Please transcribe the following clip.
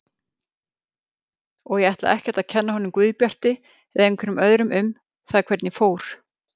Og ég ætla ekkert að kenna honum Guðbjarti eða einhverjum öðrum um það hvernig fór.